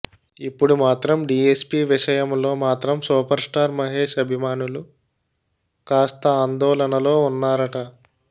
ఇప్పుడు మాత్రం డీఎస్పీ విషయంలో మాత్రం సూపర్ స్టార్ మహేష్ అభిమానులు కాస్త ఆందోళనలో ఉన్నారట